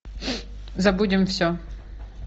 забудем все